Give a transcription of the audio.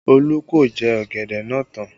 Olu ko jẹ ọ̀gẹ̀dẹ̀ náà tán